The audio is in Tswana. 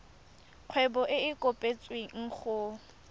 kgwebo e e kopetswengcc go